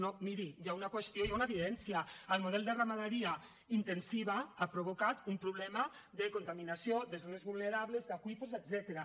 no miri hi ha una qüestió hi ha una evidència el model de ramaderia intensiva ha provocat un problema de contaminació de zones vulnerables d’aqüífers etcètera